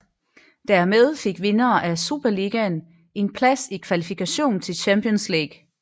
Dermed fik vinderen af Superligaen en plads i kvalifikation til Champions League